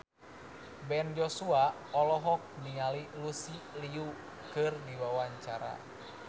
Ben Joshua olohok ningali Lucy Liu keur diwawancara